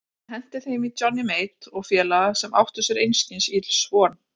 Hann henti þeim í Johnny Mate og félaga sem áttu sér einskis ills von.